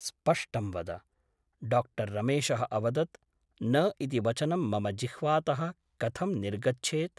स्पष्टं वद । डाक्टर् रमेशः अवदत् । न इति वचनं मम जिह्वातः कथं निर्गच्छेत् ?